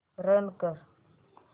run कर